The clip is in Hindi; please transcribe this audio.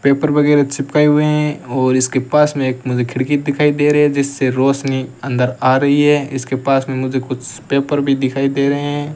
पेपर वगैरा चिपकाए हुए हैं और इसके पास में एक मुझे खिड़की दिखाई दे रही है जिससे रोशनी अंदर आ रही है इसके पास में मुझे कुछ पेपर भी दिखाई दे रहे --